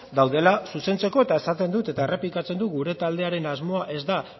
daudela zuzentzeko eta esaten dut eta errepikatzen dut gure taldearen asmoa ez da